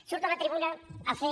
surto a la tribuna a fer